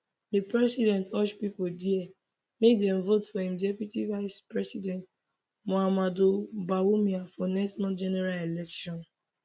di president urge pipo dia make dem vote for im deputy vicepresident mahamudu bawumia for next month general election